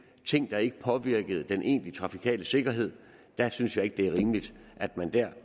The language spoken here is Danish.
ting der ikke påvirkede den egentlige trafikale sikkerhed der synes jeg ikke det er rimeligt at man